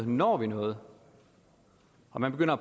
når noget og man begynder